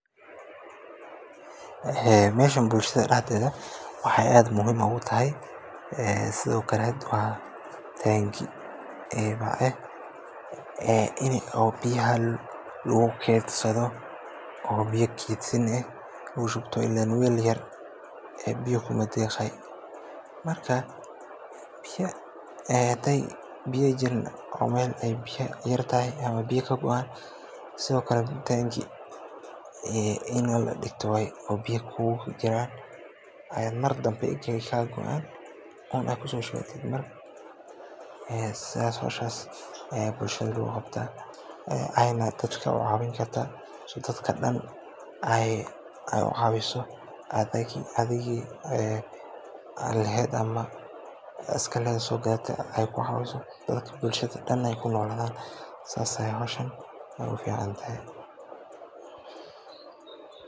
Meshaan bulshada daxdeedi waxaay aad muhiim ugu tahay, sidi okale waa tangi oo inii biyaha lagu keedsado oo biya keedsin lagu shubto ileen weel yar biya kuuma deeqaay. Markaa hadaay biya jirin oo biyaha yaryihin ama biya kabuuxaan sidi oo kale taangi ini ladigto waay oo biya kugujiraan ayaay mardamba egaay kaa goaan inaada kusoo shuwatid waay sidaas ayaay bulshada hoshaas loogu qabtaa ayna dadka ucaawin kartaa si aay dadka dan aay ucaawiso, adiga soo gadate ay kucaawiso bulshada ay kunoolaadaan. Taas ayeey howshan uficantahay.